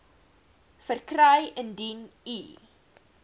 verkry indien u